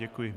Děkuji.